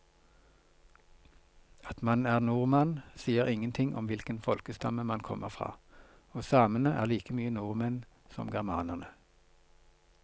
At man er nordmann sier ingenting om hvilken folkestamme man kommer fra, og samene er like mye nordmenn som germanerne.